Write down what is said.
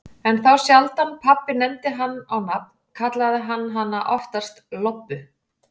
En þá sjaldan pabbi nefndi hana á nafn, kallaði hann hana oftast Lobbu.